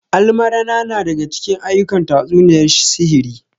Almarana na daga cikin aa'ukan tatsuniyar sihiri